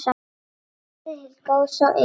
Bæði til góðs og ills.